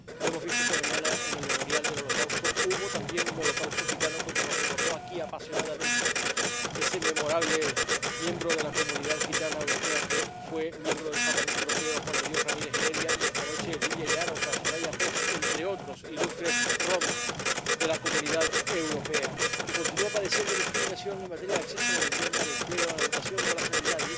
Lo hemos visto esta mañana en la Conmemoración del Holocausto. Hubo también un holocausto gitano, como nos recordó aquí apasionadamente ese memorable miembro de la comunidad gitana europea que fue miembro del Parlamento Europeo, Juan de Dios Ramírez Heredia, y, esta noche, Lívia Jároka y Soraya Post, entre otros ilustres romaníes de la comunidad europea, que continúa padeciendo discriminación en materia de acceso a la vivienda, al empleo, a la educación o a la sanidad.